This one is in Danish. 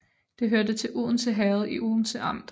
Det hørte til Odense Herred i Odense Amt